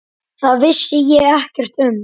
Það vissi ég ekkert um.